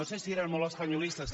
si eren molt espanyolistes